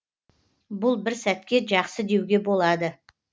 бұл бір сәтке жақсы деуге болады